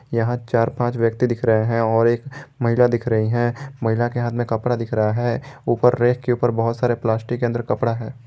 यहां चार पांच व्यक्ति दिख रहे हैं और एक महिला दिख रही हैं महिला के हाथ में कपड़ा दिख रहा है ऊपर रेक के ऊपर बहुत सारे प्लास्टिक के अंदर कपड़ा है।